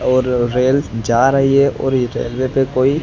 और रेल जा रही है और ये रेलवे पे कोई--